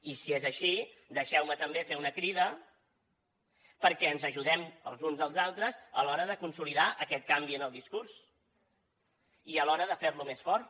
i si és així deixeu me també fer una crida perquè ens ajudem els uns als altres a l’hora de consolidar aquest canvi en el discurs i a l’hora de fer lo més fort